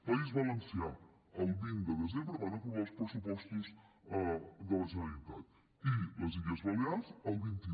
país valencià el vint de desembre van aprovar els pressupostos de la generalitat i les illes balears el vint un